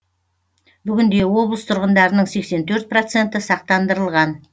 бүгінде облыс тұрғындарының сексен төрт проценті сақтандырылған